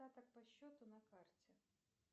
остаток по счету на карте